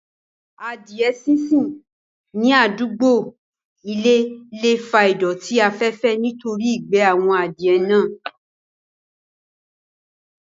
Adìẹ sínsìn ní àdúgbò ilé le fa ìdọ̀tí afẹ́fẹ́ nítorí ìgbẹ́ àwọn Adìẹ náà